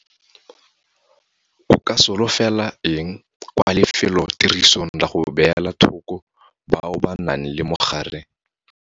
O ka solofela eng kwa lefelotirisong la go beela thoko bao ba nang le mogare?